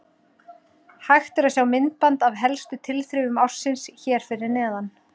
Hægt er að sjá myndband af helstu tilþrifum ársins hér fyrir neðan.